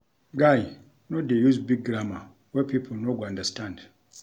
Guy, no dey use big grammar wey pipo no go understand